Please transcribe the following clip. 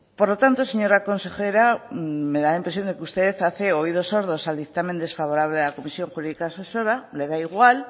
por lo tanto señora consejera me da la impresión que usted hace oídos sordos al dictamen desfavorable de la comisión jurídica asesora le da igual